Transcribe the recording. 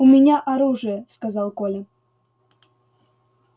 у меня оружие сказал коля